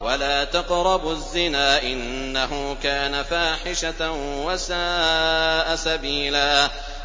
وَلَا تَقْرَبُوا الزِّنَا ۖ إِنَّهُ كَانَ فَاحِشَةً وَسَاءَ سَبِيلًا